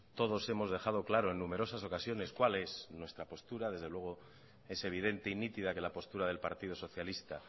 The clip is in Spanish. todos hemos dejado claro en numerosas ocasiones cuál es nuestra postura desde luego es evidente y nítida que la postura del partido socialista